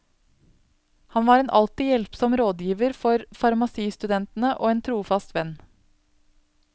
Han var en alltid hjelpsom rådgiver for farmasistudentene og en trofast venn.